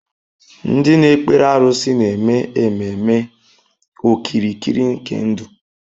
Ndị na-ekpere arụsị na-eme ememe okirikiri nke ndụ.